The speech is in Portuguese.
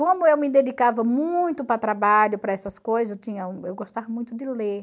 Como eu me dedicava muito para trabalho, para essas coisas, eu gostava muito de ler.